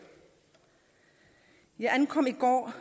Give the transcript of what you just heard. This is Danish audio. jeg ankom i går